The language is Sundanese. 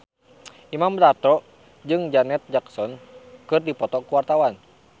Imam Darto jeung Janet Jackson keur dipoto ku wartawan